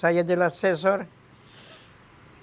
Saía de lá às seis horas.